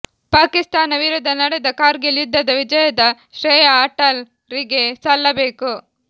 ಪಾಕಿಸ್ತಾನ ವಿರುದ್ದ ನಡೆದ ಕಾರ್ಗಿಲ್ ಯುದ್ದದ ವಿಜಯದ ಶ್ರೇಯ ಅಟಲ್ ರಿಗೆ ಸಲ್ಲ ಬೇಕು